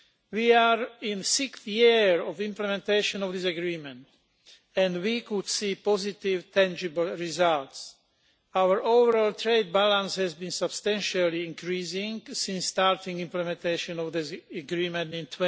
We are in the sixth year of implementation of this agreement and we can see positive tangible results. Our overall trade balance has been substantially increasing since starting implementation of this agreement in